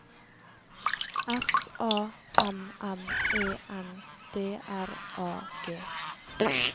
S A M M E N D R A G